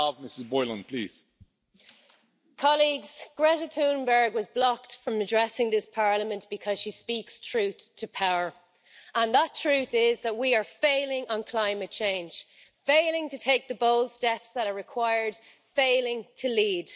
Mr President, Greta Thunberg was blocked from addressing this Parliament because she speaks truth to power, and that truth is that we are failing on climate change failing to take the bold steps that are required, failing to lead.